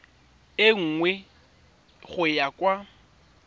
e nngwe go ya kwa